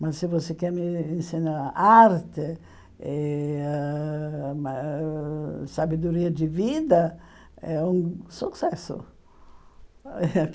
Mas se você quer me ensinar arte e ãh ma ãh sabedoria de vida, é um sucesso.